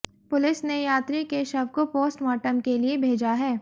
police ने यात्री के शव को पोस्टमॉर्टम के लिए भेजा है